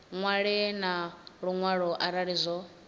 ṅwale na luṅwalo arali zwo